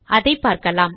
அதை பார்க்கலாம்